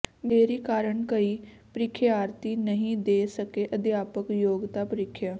ਦੇਰੀ ਕਾਰਨ ਕਈ ਪ੍ਰੀਖਿਆਰਥੀ ਨਹੀਂ ਦੇ ਸਕੇ ਅਧਿਆਪਕ ਯੋਗਤਾ ਪ੍ਰੀਖਿਆ